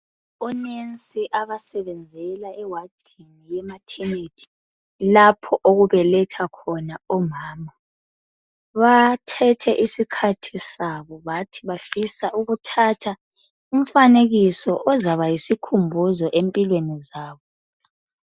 Onensi abasebenzela ewadini yemathenethi lapho okubeletha khona omama, bathethe isikhathi sabo bathi bafisa ukuthatha umfanekiso ozabayisikhumbuzo empilweni zabo.